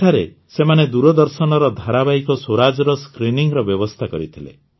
ସେଠାରେ ସେମାନେ ଦୂରଦର୍ଶନର ଧାରାବାହିକ ସ୍ୱରାଜର ସ୍କ୍ରିନିଂର ବ୍ୟବସ୍ଥା କରିଥିଲେ